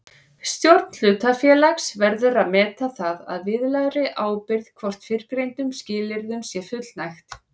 Stjórn hlutafélags verður að meta það að viðlagðri ábyrgð hvort fyrrgreindum skilyrðum sé fullnægt.